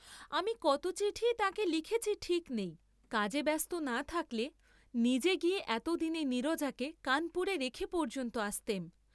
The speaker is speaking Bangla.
আমি যে কত চিঠিই তাঁকে লিখেছি ঠিক নেই, কাজে ব্যস্ত না থাকলে, নিজে গিয়ে এতদিন নীরজাকে কানপুরে রেখে পর্য্যন্ত আসতেম।